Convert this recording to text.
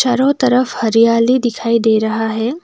चारों तरफ हरियाली दिखाई दे रहा है।